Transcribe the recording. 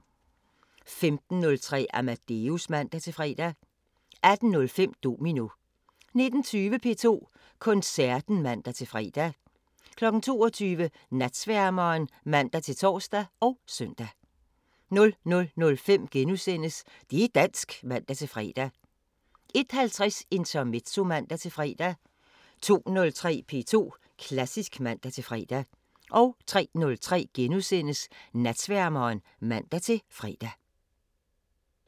15:03: Amadeus (man-fre) 18:05: Domino 19:20: P2 Koncerten (man-fre) 22:00: Natsværmeren (man-tor og søn) 00:05: Det' dansk *(man-fre) 01:50: Intermezzo (man-fre) 02:03: P2 Klassisk (man-fre) 03:03: Natsværmeren *(man-fre)